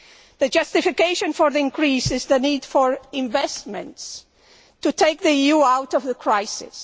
The justification for the increase is the need for investments to take the EU out of the crisis.